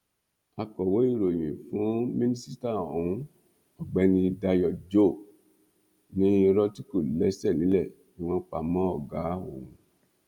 akọwé ìròyìn fún mínísítà ohun ọgbẹni dayo joe ní irọ tí kò lẹsẹ nílẹ ni wọn pa mọ ọgá òun